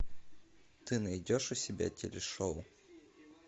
ты найдешь у себя телешоу